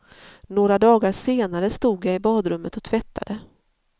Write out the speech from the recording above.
Några dagar senare stod jag i badrummet och tvättade.